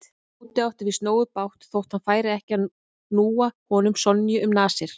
Tóti átti víst nógu bágt þótt hann færi ekki að núa honum Sonju um nasir.